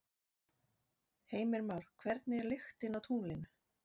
Heimir Már: Hvernig er lyktin á tunglinu?